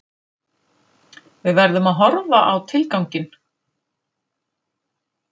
Við verðum að horfa á tilganginn